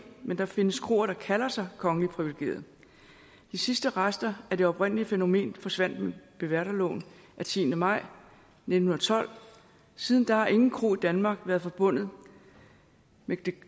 men der findes kroer der kalder sig kongeligt privilegerede de sidste rester af det oprindelige fænomen forsvandt med beværterloven af tiende maj nitten tolv siden da har ingen kro i danmark været forbundet med